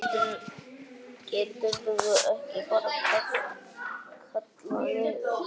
Geturðu ekki bara kallað niður?